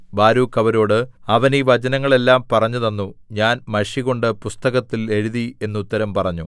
Baruch അവരോട് അവൻ ഈ വചനങ്ങളെല്ലാം പറഞ്ഞുതന്നു ഞാൻ മഷികൊണ്ട് പുസ്തകത്തിൽ എഴുതി എന്നുത്തരം പറഞ്ഞു